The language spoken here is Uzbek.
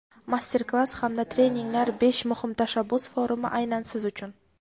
master klass hamda treninglar: "Besh muhim tashabbus" forumi aynan siz uchun!.